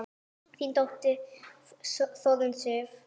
Þín dóttir, Þórunn Sif.